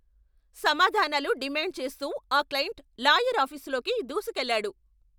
సమాధానాలు డిమాండ్ చేస్తూ ఆ క్లయింట్ లాయర్ ఆఫీసులోకి దూసుకెళ్లాడు!